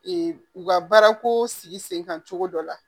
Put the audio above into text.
u ka baarako sigi sen kan cogo dɔ la